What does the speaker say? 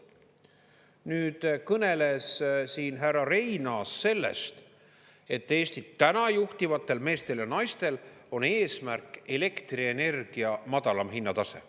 Nüüd kõneles siin härra Reinaas sellest, et Eestit täna juhtivatel meestel ja naistel on eesmärk elektrienergia madalam hinnatase.